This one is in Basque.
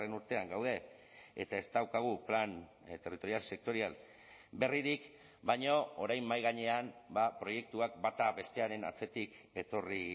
urtean gaude eta ez daukagu plan territorial sektorial berririk baina orain mahai gainean proiektuak bata bestearen atzetik etorri